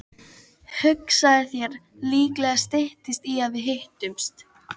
Hugsaðu þér, líklega styttist í að við hittumst.